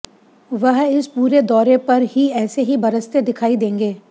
वह इस पूरे दौरे पर ही ऐसे ही बरसते दिखाई देंगे